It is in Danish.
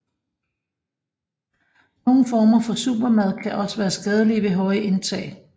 Nogle former for supermad kan også være skadelige ved høje indtag